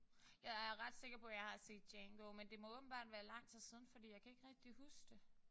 Jeg er ret sikker på jeg har set Django men det må åbenbart være ret lang tid siden for jeg kan ikke rigtig huske det